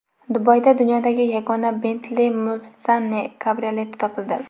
Dubayda dunyodagi yagona Bentley Mulsanne kabrioleti topildi.